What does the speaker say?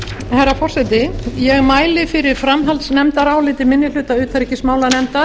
herra forseti ég mæli fyrir framhaldsnefndaráliti minni hluta utanríkismálanefndar